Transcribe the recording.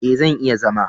E, zan iya zama.